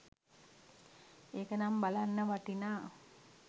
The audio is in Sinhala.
ඒක නම් බලන්න වටිනා